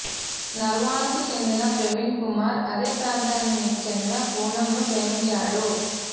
నర్వాన్కు చెందిన ప్రవీణ్ కుమార్ అదే ప్రాంతానికి చెందిన పూనంను ప్రేమించాడు